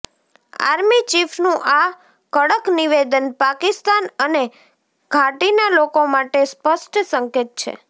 army ચીફનું આ કડક નિવેદન પાકિસ્તાન અને ઘાટીનાં લોકો માટે સ્પષ્ટ સંકેત છે